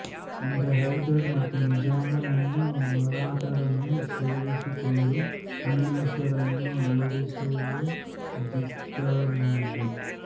ಮುಂದೆ ಹೈದರ್ ಮತ್ತೆ ನಿಜಾಮನನ್ನೂ ಮರಾಠರನ್ನೂ ಸೇರಿಸಿಕೊಂಡು ಇಂಗ್ಲಿಷರನ್ನು ಓಡಿಸಲುದ್ಯುಕ್ತನಾದ